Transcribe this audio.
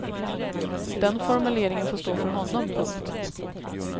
Den formuleringen får stå för honom. punkt